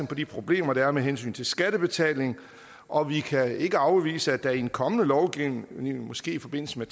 på de problemer der er med hensyn til skattebetalingen og vi kan ikke afvise at der i en kommende lovgivning måske i forbindelse med